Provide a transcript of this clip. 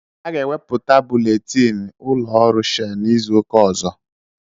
Aga ewepụta buletini ụlọọrụ Shell n'izu ụka ọzọ.